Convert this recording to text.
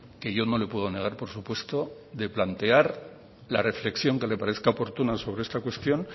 que yo no le puedo negar por supuesto de plantear la reflexión que le parezca oportuna sobre esta cuestión